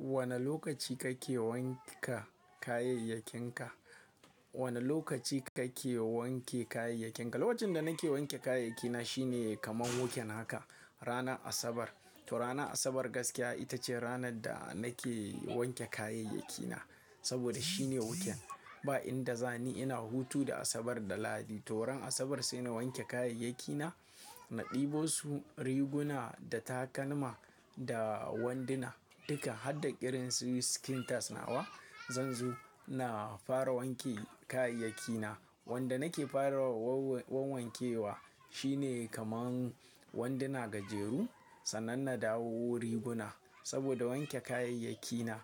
Wane lokaci kake wanke kayayyakinka? Wane lokaci kake wanke kayayyakinka? Lokacin da nake wanke kayayyaki na shine kaman weekend haka. Rana asabar. To rana asabar gaskiya ita ce ranar da nake wanke kayayyaki na. Saboda shine huken. Ba inda zani ina hutu da asabar da lahadi. To ran asabar sai na wanke kayayyaki na. Na ɗebo su riguna da takalma da wanduna duka. Har da irin su skin tight nawa. Zanzo ina fara wanke kayayyaki na. Wanda nake fara wan-wan-wankewa shine kaman wanduna gajeru. Sannan na dawo riguna. Saboda wanke kayayyaki na,